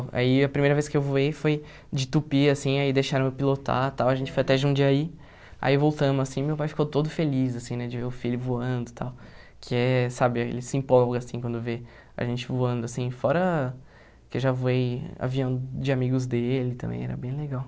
Aí a primeira vez que eu voei foi de tupi, assim, aí deixaram eu pilotar, tal, a gente foi até Jundiaí, aí voltamos, assim, meu pai ficou todo feliz, assim, né, de ver o filho voando, tal, que é, sabe, ele se empolga, assim, quando vê a gente voando, assim, fora que eu já voei avião de amigos dele também, era bem legal.